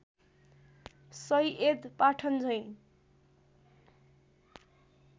Syed पठानझैँ